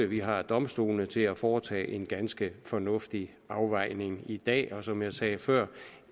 vi har domstolene til at foretage en ganske fornuftig afvejning i dag som jeg sagde før